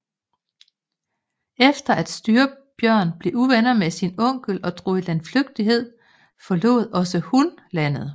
Efter at Styrbjørn blev uvenner med sin onkel og drog i landflygtighed forlod også hun landet